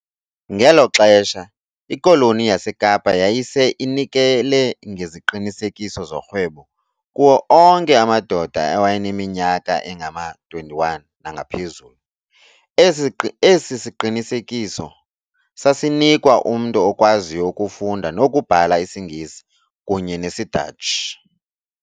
Ngelo xesha, ikoloni yaseKapa yayise inikele ngeziqinisekiso zorhwebo kuwo onke amadoda awayeneminyaka engama-21 nangaphezulu, esi siqinisekiso sasinikwa umntu okwaziyo ukufunda nokubhala isiNgesi kunye nesiDatshi.